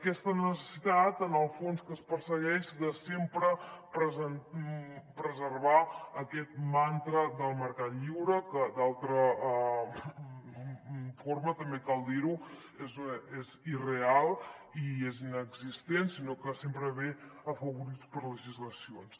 aquesta necessitat en el fons que es persegueix de sempre preservar aquest mantra del mercat lliure que d’altra forma també cal dir ho és irreal i és inexistent sinó que sempre ve afavorit per legislacions